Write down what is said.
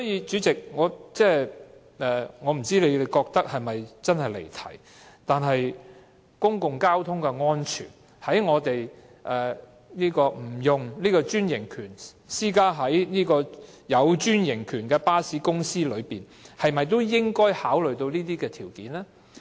主席，我不知道你是否認為這真的是離題，但是，這關乎公共交通的安全，而在我們討論利潤管制計劃不適用於專營巴士公司時，是否也應該考慮這些因素呢？